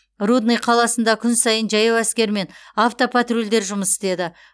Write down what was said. рудный қаласында күн сайын жаяу әскер мен автопатрульдер жұмыс істеді